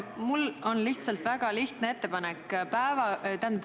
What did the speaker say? Mul on väga lihtne ettepanek.